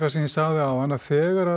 sem ég sagði áðan að þegar